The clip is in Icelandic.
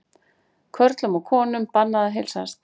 Körlum og konum bannað að heilsast